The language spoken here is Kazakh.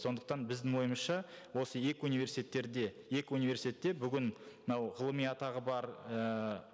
сондықтан біздің ойымызша осы екі университеттерде екі университетте бүгін мынау ғылыми атағы бар ііі